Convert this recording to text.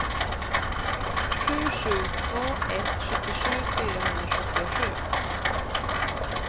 sju sju två ett sjuttiosju fyrahundrasjuttiosju